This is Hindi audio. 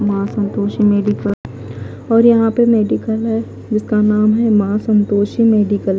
माँ संतोषी मेडिकल और यहाँ पे मेडिकल है जिसका नाम है माँ संतोषी मेडिकल ।